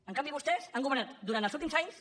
en canvi vostès han governat durant els últims anys